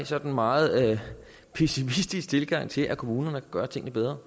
sådan meget pessimistisk tilgang til at kommunerne kan gøre tingene bedre